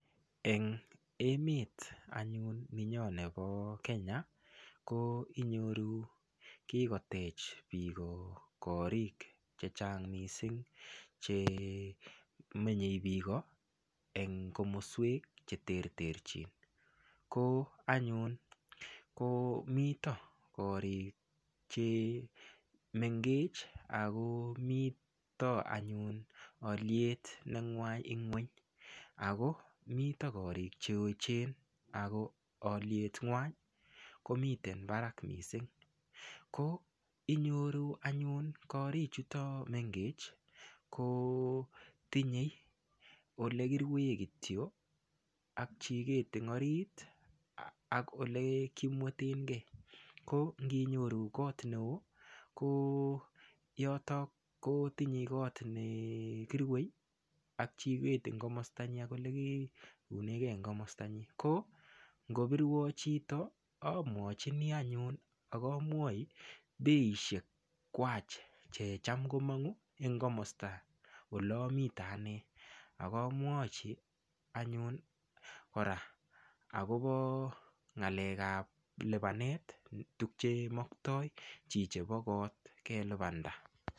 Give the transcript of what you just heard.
Eng emet anyun nenyo nebo Kenya ko inyoru kikotech biko korik chechang mising chemenyei biiko eng komoswek che ter ter chin ko anyun ko mito korik che mengech ako mito anyun aliet nengwany ing'weny ako mito korik che echen ako aliet ng'wan komiten barak mising ko inyoru anyun korik chuto mengech ko tinyei olekirue kityo ak chiket ing orit ak ole kimwetenke ko nginyoru koot neo ko yoto ko kotinyei koot nekirue ak chiket eng komosta nyin ak olekiunege eng komosta nyin ko ngobirwo chito amwachini anyun akomwoi beiishek kwach che cham komongu eng komosta ole amite ane akamwochi anyun kora akobo ng'alek ap lipanet tukchemoktoi chichebo koot kelipanda.